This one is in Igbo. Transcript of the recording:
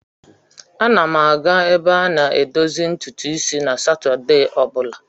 Ana m aga ebe a na-edozi ntutu isi na Satọdee ọ bụla.